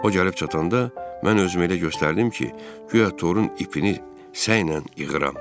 O gəlib çatanda mən özümü elə göstərdim ki, guya torun ipini sənlə yığıram.